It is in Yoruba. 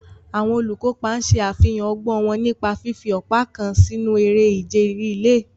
Àwọn olùkópa ṣe àfihàn ọgbọ́n wọn nípa fífi ọ̀pá kan sínú eré ìje rìléè.